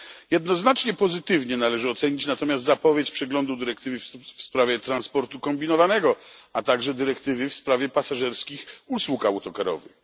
Jednoznacznie pozytywnie należy ocenić natomiast zapowiedź przeglądu dyrektywy w sprawie transportu kombinowanego, a także dyrektywy w sprawie pasażerskich usług autokarowych.